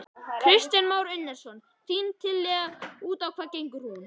Kristján Már Unnarsson: Þín tillaga, út á hvað gekk hún?